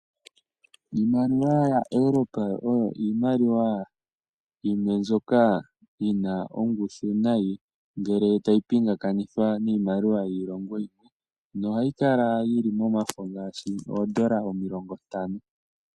Iimaliwa yaEuropa oyo iimaliwa yimwe mbyoka yina ongushu nayi. Ngele tayi pingakanithwa niimaliwa yiilongo yimwe. Nohayi kala yili momafo ngaashi oondola omilongo ntano.